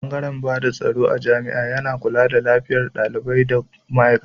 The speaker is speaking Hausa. Bangare bada tsaro a jami'a yana kula da lafiyar dalibai da ma aikata.